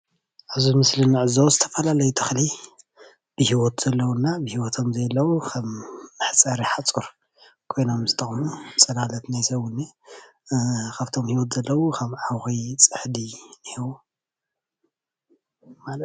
ኣብዚ ምስሊ እንዕዘቦ ዝተፈላለዩ ተኽሊ ብሂወት ዘለው እና ብሂወት ዘየለው ኸም መሕፀሪ ሓፁር ኻፍቶም ብሂወት ዘለው ኸም ዓኺ፣ ፅሕዲ እኒሀው።